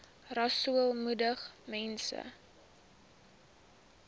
rasool moedig mense